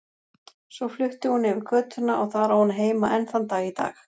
Svo flutti hún yfir götuna og þar á hún heima enn þann dag í dag.